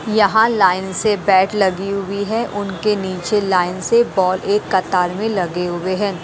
यहाँ लाइन से बैट लगी हुई है उनके नीचे लाइन से बॉल एक कतार में लगे हुए हैं।